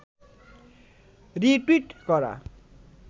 retweet করা